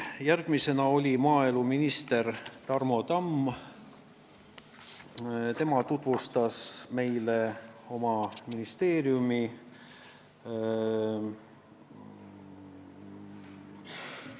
Järgmisena oli meie ees maaeluminister Tarmo Tamm, kes tutvustas meile oma ministeeriumi eelarvet.